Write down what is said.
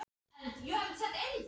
Já, þetta er allt sama tegund.